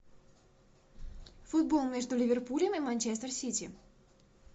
футбол между ливерпулем и манчестер сити